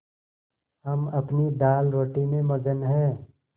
हम अपनी दालरोटी में मगन हैं